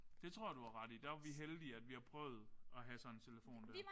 Det tror jeg du har ret i. Der var vi heldige at vi har prøvet at have sådan en telefon der